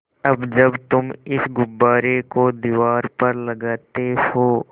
अब जब तुम इस गुब्बारे को दीवार पर लगाते हो